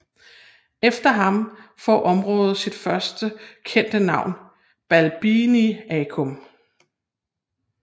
Efter ham får området sit første kendte navn Balbiniacum